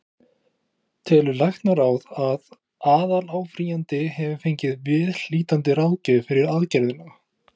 Telur læknaráð, að aðaláfrýjandi hafi fengið viðhlítandi ráðgjöf fyrir aðgerðina?